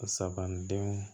Sabanan denw